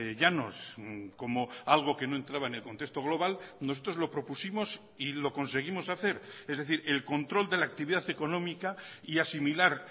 llanos como algo que no entraba en el contexto global nosotros lo propusimos y lo conseguimos hacer es decir el control de la actividad económica y asimilar